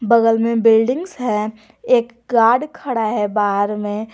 बगल में बिल्डिंग्स एक गार्ड खड़ा है बाहर में।